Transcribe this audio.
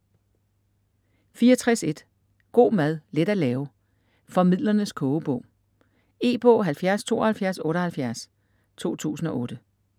64.1 God mad, let at lave: Formidlernes kogebog E-bog 707278 2008.